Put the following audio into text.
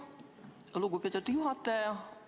Aitäh, lugupeetud juhataja!